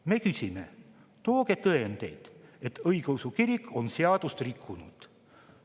Me ütleme: tooge tõendeid, et õigeusu kirik on seadust rikkunud.